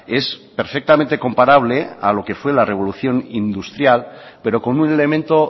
es perfectamente comparable a lo que fue la revolución industrial pero con un elemento